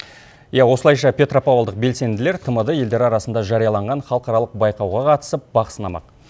иә осылайша петропавлдық белсенділер тмд елдер арасында жарияланған халықаралық байқауға қатысып бақ сынамақ